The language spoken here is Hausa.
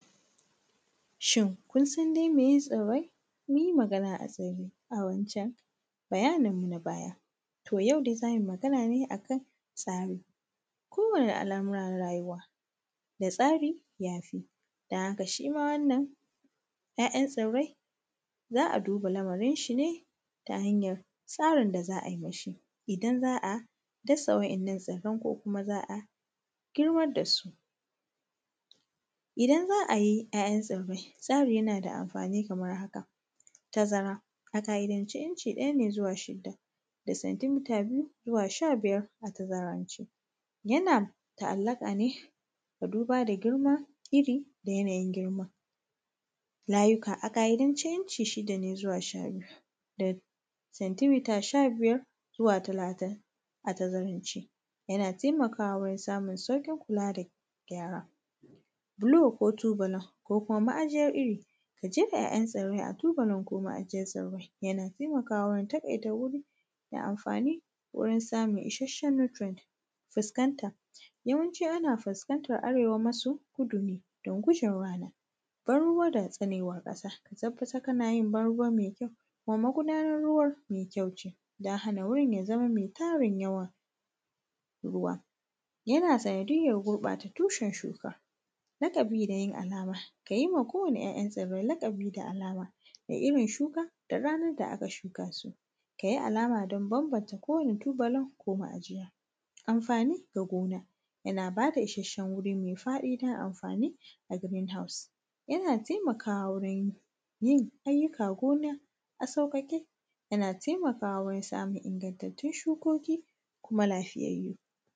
Shin kun san dai meye tsirrai? Mun yi magana tsaye a wancan bayanin mu na baya. Toh yau dai za mu yi Magana ne akan tsari ko wane al’amura na rayuwa da tsari ya fi don haka shi ma wannan ‘ya’yan tsirrai za a duba lamarin shi ne ta hanyar tsarin da za a yi mashi idan za a dasa waɗannan tsirrai ko kuma za a girmar da su. Idan za a yi ‘ya’yan tsirrai tsari yana da amfani kamar haka, tazara, a ƙa’idan ce inci ɗaya ne zuwa shida da centimeter biyu zuwa sha biyar a tazarance. Yana ta’allaƙa ne da duba da girma iri da yanayin girman. Layuka a ƙa’idance inci shida ne zuwa shabiyu da centimeter sha biyar zuwa talatin a tazarance yana taimakwa wurin samun sauƙin kula da gyara bulo ko tubulin ko kuma ma’ajiyar iri da jefa ‘ya’yan tsirrai a tubulin ko ma’ajiyar tsirrai yana taimakawa wurin taƙaita wuri da amfani wurin samun isasshen nutrient. Fuskanta, yawanci ana fuskantar arewa maso kudu ne don gujewa ban ruwa da tsanewar ƙasa ka tabbatar kana yin ban ruwa mai kyau kuma magudanar ruwan mai kyau ce don hana wurin ya zama mai tarin yawa ruwa, yana sandiyyar gurɓata tushen shuka, laƙabi da yin alama ka yi ma kowane ‘ya’yan tsirrai laƙabi da alama da irin shuka da ranar da aka shuka su, ka yi alama don banbanta kowane tubulin ko ma’ajiya. Amfani da gona yana bada isasshen wuri mai faɗi don amfani da a green house, yana taimakawa wurin yin ayyukan gona a sauƙaƙe, yana taimakawa wurin samun ingantattun shukoki kuma lafiyayyu.